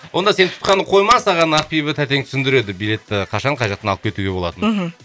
онда сен тұтқаны қойма саған ақбибі тәтең түсіндіреді билетті қашан қай жақтан алып кетуге болатынын мхм